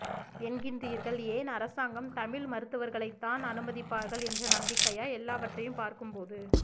என்கின்றீா்கள்ஏன் அரசாங்கம் தமிழ் மருத்துவா்களைத்தான் அனுமதிப்பாா்கள் என்ற நம்பிக்கையா எல்லாவற்றையும் பாா்க்கும்போது